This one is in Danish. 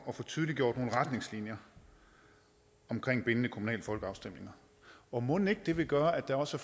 få tydeliggjort nogle retningslinjer omkring bindende kommunale folkeafstemninger og mon ikke at det vil gøre at der også